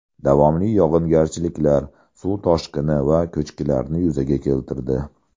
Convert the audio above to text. Davomli yog‘ingarchiliklar suv toshqini va ko‘chkilarni yuzaga keltirdi.